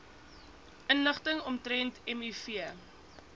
inligting omtrent miv